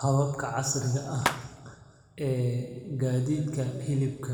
Hababka casriga ah ee gaadiidka hilibka